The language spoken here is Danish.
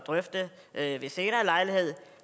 drøfte ved en senere lejlighed